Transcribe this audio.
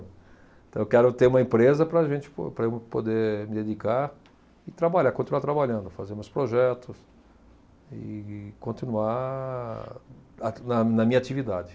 Então eu quero ter uma empresa para a gente po, para eu poder me dedicar e trabalhar, continuar trabalhando, fazer meus projetos e continuar a, na minha atividade.